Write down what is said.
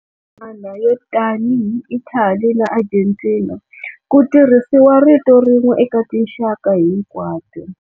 Man'wana, yo tanihi Italy na Argentina, ku tirhisiwa rito rin'we eka tinxaka hinkwato.